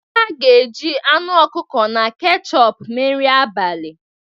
Ha ga-eji anụ ọkụkọ na kechọp mee nri abalị.